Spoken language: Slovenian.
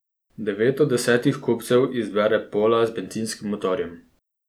Devet od desetih kupcev izbere pola z bencinskim motorjem.